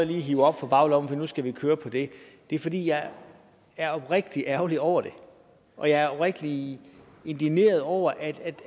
lige hiver op fra baglommen og siger nu skal vi køre på det det er fordi jeg er oprigtig ærgerlig over det og jeg er oprigtig indigneret over at